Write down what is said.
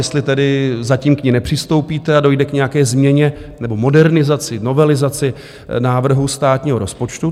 Jestli tedy zatím k ní nepřistoupíte a dojde k nějaké změně nebo modernizaci, novelizaci, návrhu státního rozpočtu?